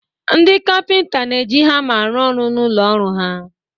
Ndị Kapịnta n'eji hama arụ-ọrụ n'ụlọ ọrụ ha.